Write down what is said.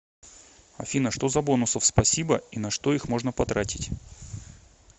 афина что за бонусов спасибо и на что их можно потратить